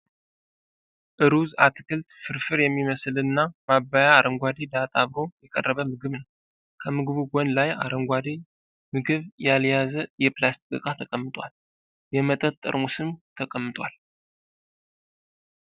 እሩዝ ፣ አትክልት ፣ ፍርፍር የሚመስል እና ማባያ አረንጓዴ ዳጣ አብሮ የቀረበ ምግብ ነዉ። ከምግቡ ጎን ላይ አረንጓዴ ምግብ ያልያዘ የፕላስቲክ እቃ ተቀምጧል። የመጠጥ ጠርሙስም ተቀምጧል ።